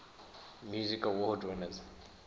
music awards winners